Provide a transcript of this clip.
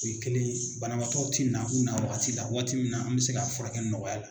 U ye kelen ye banabaatɔw tɛ na u nawaati la waati min na an bɛ se k'a fura kɛ nɔgɔya la.